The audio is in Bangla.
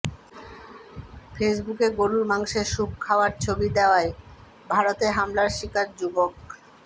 ফেসবুকে গরুর মাংসের স্যুপ খাওয়ার ছবি দেয়ায় ভারতে হামলার শিকার যুবক